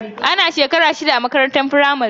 Ana shekara shida a makarantar firamare.